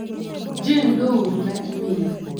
jane doe ooro na imel.